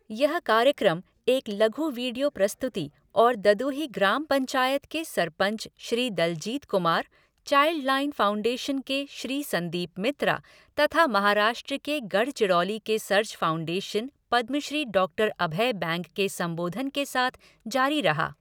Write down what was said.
यह कार्यक्रम एक लघु वीडियो प्रस्तुति और ददुही ग्राम पंचायत के sarpanch Shri Daljit Kumar, child line foundation के श्री संदीप मित्रा तथा महाराष्ट्र के गढ़चिरौली के सर्च फाउंडेशन पद्मश्री डॉक्टर अभय बैंग के संबोधन के साथ जारी रहा।